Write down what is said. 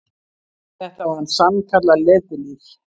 Þetta var sann- kallað letilíf.